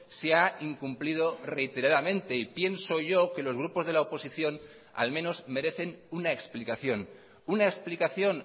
se ha incumplido reiteradamente y pienso yo que los grupos de la oposición al menos merecen una explicación una explicación